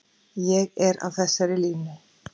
Ég er á þessari línu.